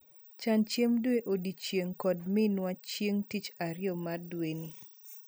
Chan chiemb dwe odiechieng' kod minwa chieng' tich ariyo mar dweni.